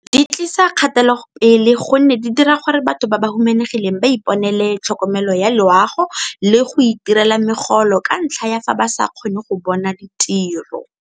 Di tlisa kgatelopele gonne di dira gore batho ba ba humanegileng ba iponele tlhokomelo ya loago le go itirela megolo ka ntlha ya fa ba sa kgone go ka bona ditiro.